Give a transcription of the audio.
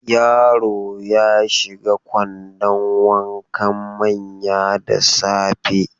Yaro ya shiga kwandon wankan manya da safe.